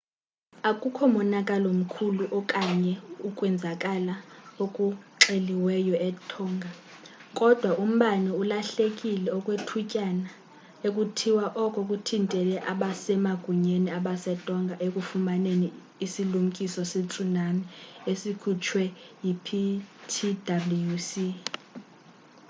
akukho monakalo mkhulu okanye ukwenzakala okuxeliweyo etonga kodwa umbane ulahlekile okwethutyana ekuthiwa oko kuthintele abasemagunyeni basetonga ekufumaneni isilumkiso se-tsunami esikhutshwe yi-ptwc